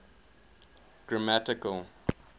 grammatical